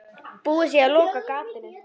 Búið sé að loka gatinu.